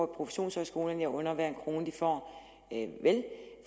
professionshøjskolerne jeg under dem hver en krone de får